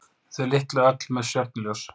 Þau litlu öll með stjörnuljós.